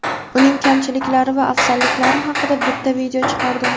Uning kamchiliklari va afzalliklari haqida bitta video chiqardim.